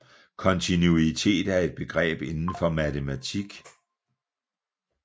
Kontinuitet er et begreb inden for matematik